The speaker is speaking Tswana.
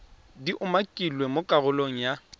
di umakilweng mo karolong ya